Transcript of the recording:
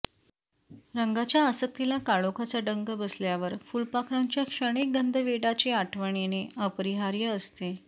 रंगांच्या आसक्तीला काळोखाचा डंख बसल्यावर फुलपाखरांच्या क्षणिक गंधवेडाची आठवण येणे अपरिहार्य असते